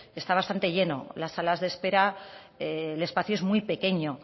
está bastante lleno las salas de espera el espacio es muy pequeño